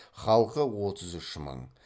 халқы отыз үш мың